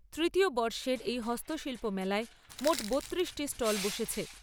তৃতীয় বর্ষের এই হস্তশিল্প মেলায় মোট বত্তিরিশটি স্টল বসেছে।